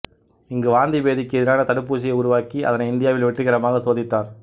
இங்கு வாந்திபேதிக்கு எதிரான தடுப்பூசியை உருவாக்கி அதனை இந்தியாவில் வெற்றிகரமாக சோதித்தார்